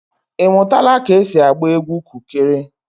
Ị mụtala ka esi agba egwu kukere?